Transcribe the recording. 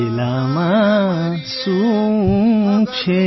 થેલામાં શું છે